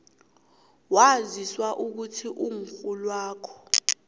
waziswa ukuthi umrholwakho